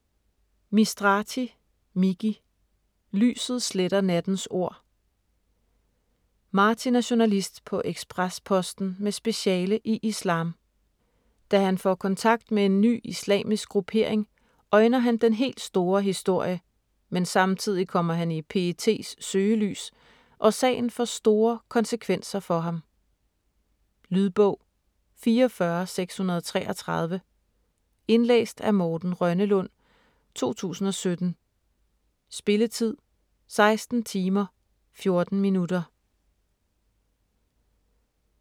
Mistrati, Miki: Lyset sletter nattens ord Martin er journalist på Ekspres Posten med speciale i islam. Da han får kontakt med en ny islamisk gruppering, øjner han den helt store historie, men samtidig kommer han i PETs søgelys, og sagen får store konsekvenser for ham. Lydbog 44633 Indlæst af Morten Rønnelund, 2017. Spilletid: 16 timer, 14 minutter.